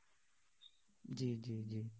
জ্বী জ্বী জ্বী